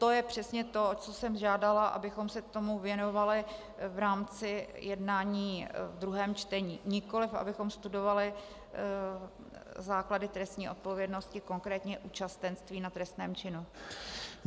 To je přesně to, o co jsem žádala, abychom se tomu věnovali v rámci jednání ve druhém čtení, nikoliv abychom studovali základy trestní odpovědnosti, konkrétně účastenství na trestném činu.